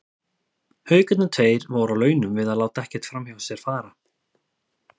Haukarnir tveir voru á launum við að láta ekkert framhjá sér fara.